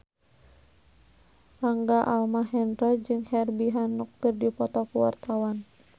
Rangga Almahendra jeung Herbie Hancock keur dipoto ku wartawan